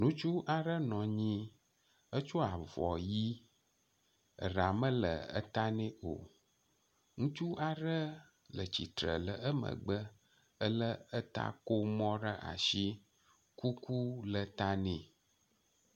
Ŋutsu aɖe nɔ anyi etsɔ avɔ ʋi eɖa mele eta nɛ o. Ŋutsu aɖe le tsitre le emgbe ele etakomɔ ɖe asi. Kuku le ta nɛ.